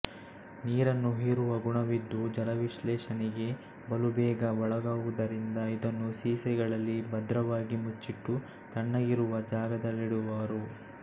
ನೀರನ್ನು ಹೀರುವ ಗುಣವಿದ್ದು ಜಲವಿಶ್ಲೇಷಣೆಗೆ ಬಲುಬೇಗ ಒಳಗಾಗುವುದರಿಂದ ಇದನ್ನು ಸೀಸೆಗಳಲ್ಲಿ ಭದ್ರವಾಗಿ ಮುಚ್ಚಿಟ್ಟು ತಣ್ಣಗಿರುವ ಜಾಗದಲ್ಲಿಡುವರು